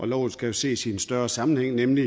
loven skal jo ses i en større sammenhæng nemlig